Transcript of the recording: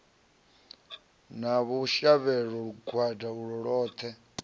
na vhushavhelo lugwada ulwo lwoṱhe